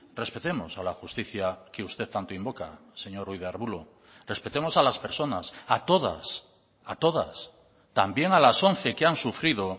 respetemos a la justicia que usted tanto invoca señor ruiz de arbulo respetemos a las personas a todas a todas también a las once que han sufrido